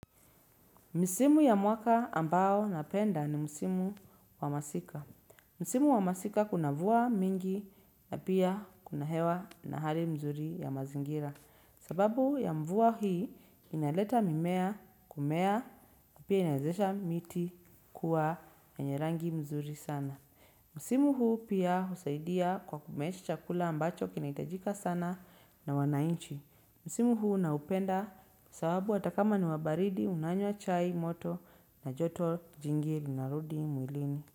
Msimu ya mwaka ambao napenda ni msimu wa masika. Msimu wa masika kuna mvua mingi na pia kuna hewa na hali mzuri ya mazingira. Sababu ya mvua hii inaleta mimea kumea na pia inawezesha miti kuwa yenye rangi mzuri sana. Msimu huu pia husaidia kwa kumeesha chakula ambacho kinaitajika sana na wanainchi. Msimu huu naupenda, sababu atakama ni wabaridi unanywa chai moto na joto jingi linarudi mwilini.